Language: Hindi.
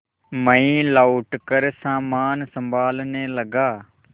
मैं लौटकर सामान सँभालने लगा